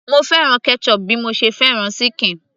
mo fẹ́ràn ketchup bí mo ṣe fẹ́ràn ṣíkìn